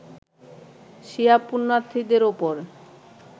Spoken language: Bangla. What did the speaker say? শিয়া পূণ্যার্থীদের ওপর